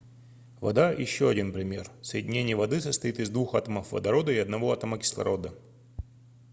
вода ещё один пример соединение воды состоит из двух атомов водорода и одного атома кислорода